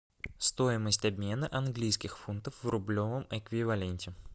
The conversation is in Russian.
стоимость обмена английских фунтов в рублевом эквиваленте